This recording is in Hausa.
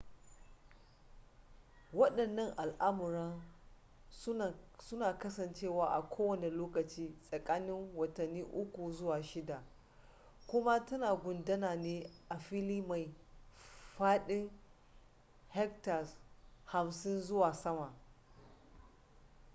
wadannan al'amuran suna kasancewa a kowane lokaci tsakanin watanni uku zuwa shida kuma tana gudana ne a fili mai fadin hectares 50 zuwa sama